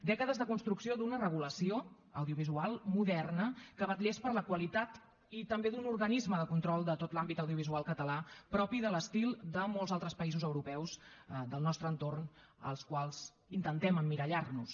dècades de construcció d’una regulació audiovisual moderna que vetllés per la qualitat i també d’un organisme de control de tot l’àmbit audiovisual català propi de l’estil de molts altres països europeus del nostre entorn als quals intentem emmirallar nos